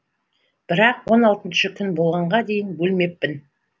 бірақ он алтыншы күн болғанға дейін өлмеппін